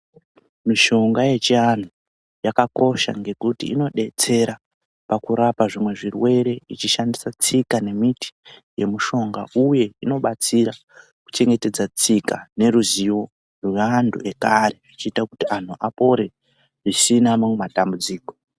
Mishonga yechianhu yakakosha ngekuti inodetsera pakurapa zvimwe zvirwere ichishandisa tsika nemiti yemishonga. Uye inobatsira kuchengetedza tsika neruzivo rweantu ekare, ichiita kuti antu apore zvisina mamwe matambudziko.